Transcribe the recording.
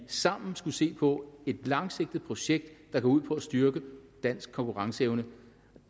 sammen skulle se på et langsigtet projekt der går ud på at styrke dansk konkurrenceevne